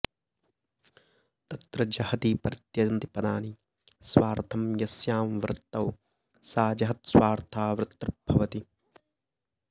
तत्र जहति परित्यजन्ति पदानि स्वार्थं यस्यां वृत्तौ सा जहत्स्वार्था वृत्तिर्भवति